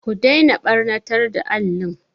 Ku daina ɓannatar da alli!